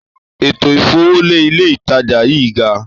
Ètò ìfowólérí ilé ìtajà yí gaa